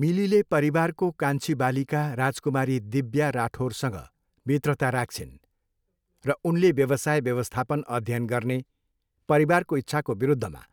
मिलीले परिवारको कान्छी बालिका राजकुमारी दिव्या राठोरसँग मित्रता राख्छिन्, र उनले व्यवसाय व्यवस्थापन अध्ययन गर्ने परिवारको इच्छाको विरुद्धमा